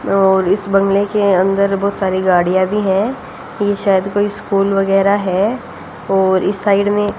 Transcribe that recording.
और इस बंगले के अंदर बहुत सारी गाड़ियां भी है कि शायद कोई स्कूल वगैरह है और इस साइड में --